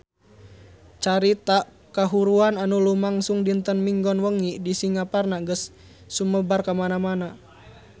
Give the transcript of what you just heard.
Carita kahuruan anu lumangsung dinten Minggon wengi di Singaparna geus sumebar kamana-mana